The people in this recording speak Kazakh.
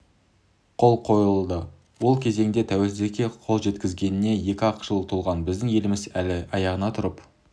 қол қойылды ол кезеңде тәуелсіздікке қол жеткізгеніне екі-ақ жыл толған біздің еліміз әлі аяғына тұрып